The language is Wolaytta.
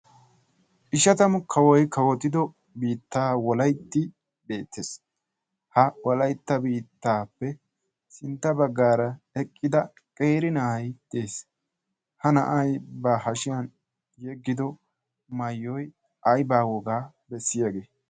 50 kawoy kawotido biittay beettees. Ha wolaytta biittaappe sintta baggaara eqqida na'ay dees. Ha na'ay ba hashiyan yeggido maayoy aybaa wogaa bessiyagee?